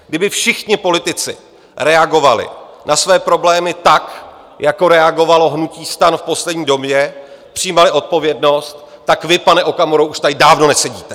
Kdyby všichni politici reagovali na své problémy tak, jako reagovalo hnutí STAN v poslední době, přijímali odpovědnost, tak vy, pane Okamuro, už tady dávno nesedíte.